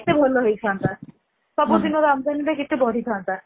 କେତେ ଭଲ ହେଇଥାନ୍ତା ସବୁ ଦିନର ଆମଦାନୀ କେତେ ବଢି ଥାନ୍ତା